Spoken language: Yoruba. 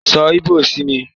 So ìbò sí mi!